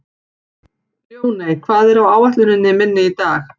Ljóney, hvað er á áætluninni minni í dag?